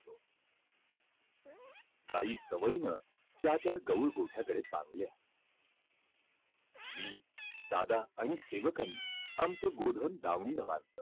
गायी सवयीनं ज्या त्या गोट्याकडे मी, दादा आणि सेवकांनी आमचं गोधन दावणीला बांधलं.